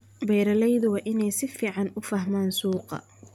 Beeraleydu waa inay si fiican u fahmaan suuqa.